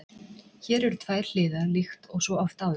Hér eru tvær hliðar líkt og svo oft áður.